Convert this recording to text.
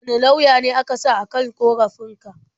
Wane lauya aka sa a kan ƙorafin ka?